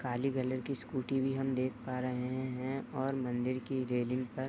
काली colour की scooty भी हम देख पा रहे हैं और मंदिर की रेलिंग पर --